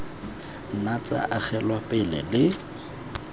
nna tsa agelwa pele le